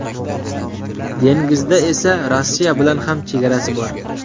Dengizda esa Rossiya bilan ham chegarasi bor.